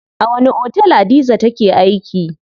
A wani otel Hadiza take aiki?